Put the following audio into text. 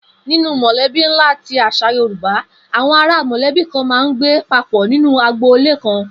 Ninú mò̩lé̩bí ńlá ti às̩à Yorùbá, àwo̩n ará mò̩lé̩bí kan máa ń gbé papò̩ nínú agboolé kan